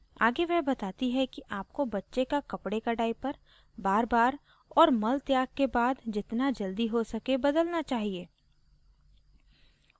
आगे वह कहती है कि आपको बच्चे का कपडे का diaper बारबार और मल त्याग के बाद जितना जल्दी हो सके बदलना चाहिए